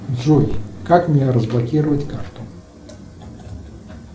джой как мне разблокировать карту